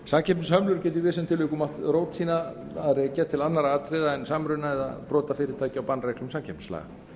samkeppnishömlur geta í vissum tilvikum átt rót sína að rekja til annarra atriða en samruna eða brota fyrirtækja á bannreglum samkeppnislaga